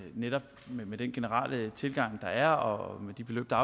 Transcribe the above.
netop med den generelle tilgang der er og med de beløb der